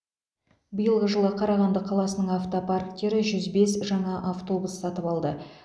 биылғы жылы қарағанды қаласының автопарктері жүз бес жаңа автобус сатып алды